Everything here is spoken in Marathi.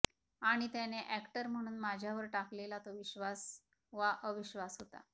आणि त्याने अॅक्टर म्हणून माझ्यावर टाकलेला तो विश्वास वा अविश्वास होता